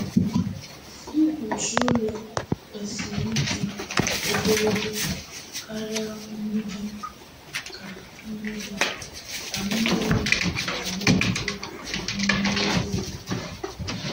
Mkpuchi ụlọ kwesịrị ịdị ogologo karịa mgbidi ka mgbidi ka mmiri ghara ife n'ime ebe obibi.